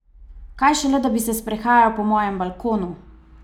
Kaj šele, da bi se sprehajal po mojem balkonu!